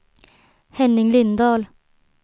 Henning Lindahl